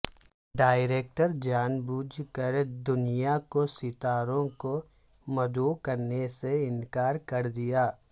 director جان بوجھ کر دنیا کو ستاروں کو مدعو کرنے سے انکار کر دیا